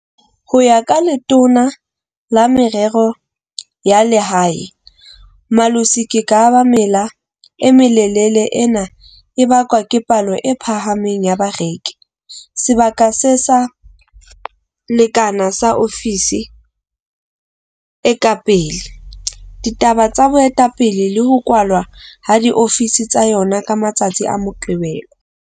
Ho ya ka Letona la Merero ya Lehae, Malusi Gigaba mela e melelele e ne e bakwa ke palo e phahameng ya bareki, sebaka se sa lekanang sa ofisi e ka pele, ditaba tsa boetapele le ho kwalwa ha diofisi tsa yona ka matsatsi a Moqebelo.